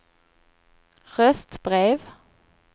röstbrev